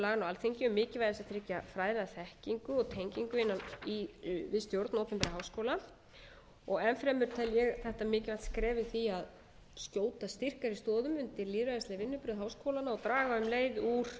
laganna á alþingi um mikilvægi þess að tryggja fræðaþekkingu og tengingu við stjórn opinberra háskóla og enn fremur tel ég þetta mikilvægt skref í því að skjóta styrkari stoðum undir lýðræðisleg vinnubrögð háskólanna og draga um leið úr